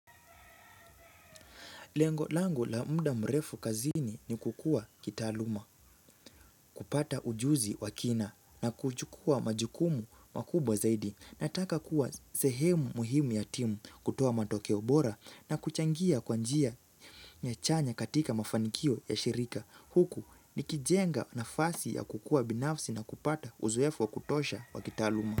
Lengo lango la muda mrefu kazini ni kukua kitaaluma, kupata ujuzi wa kina na kuchukua majukumu makubwa zaidi. Nataka kuwa sehemu muhimu ya timu kutoa matokeo bora na kuchangia kwa njia nyachanya katika mafanikio ya shirika. Huku nikijenga nafasi ya kukua binafsi na kupata uzoefu wa kutosha wa kitaaluma.